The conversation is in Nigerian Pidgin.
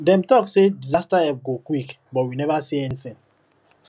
dem talk say disaster help go quick but we never see anything